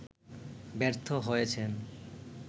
ব্যর্থ হয়েছেন